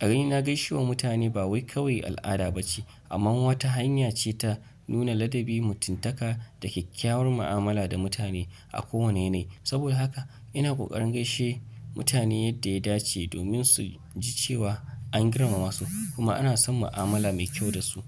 A raina gaishewa mutane ba wai kawai al'ada ba ce amma wata hanya ce ta nuna ladabi, mutuntaka da kyakkyawar mu'amala da mutane a kowane yanayi. Saboda haka ina ƙoƙarin gaishe mutane yadda ya dace domin su ji cewa an girmama su kuma ana son mu'amala mai kyau da su.